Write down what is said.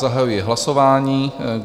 Zahajuji hlasování.